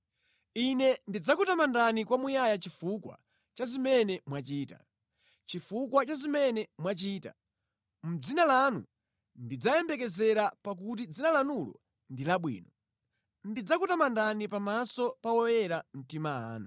Ine ndidzakutamandani kwamuyaya chifukwa cha zimene mwachita; chifukwa cha zimene mwachita; mʼdzina lanu ndidzayembekezera pakuti dzina lanulo ndi labwino. Ndidzakutamandani pamaso pa oyera mtima anu.